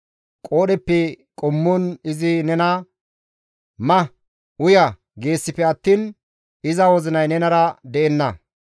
Qoodheppe qommon izi nena, «Ma; uya» geesippe attiin iza wozinay nenara de7enna.